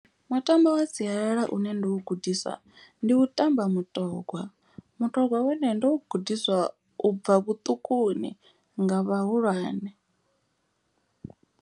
Mutambo wa sialala une ndo u gudiswa ndi u tamba mutogwa. Mutogwa wone ndo u gudiswa u bva vhuṱukuni nga vhahulwane.